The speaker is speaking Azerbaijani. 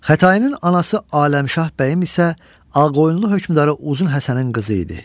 Xətainin anası Aləmşah bəyim isə Ağqoyunlu hökmdarı Uzun Həsənin qızı idi.